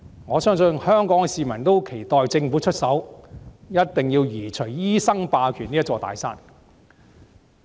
我相信香港市民十分期待政府出手，一定要移除醫生霸權這座"大山"。